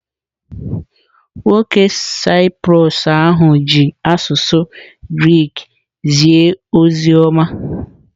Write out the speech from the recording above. Nwoke Saịprọs ahụ ji asụsụ Grik zie ozi ọma.